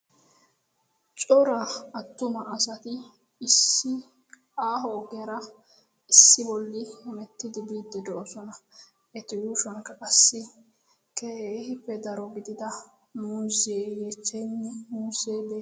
Cora attuma asati issi aaho ogiyara issi bolli hemettidi biiddi de'osona. Eti yuushuwankka qassi keeppe daro gidida muuzee yeechchaynne muuzee de'ees.